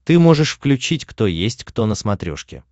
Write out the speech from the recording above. ты можешь включить кто есть кто на смотрешке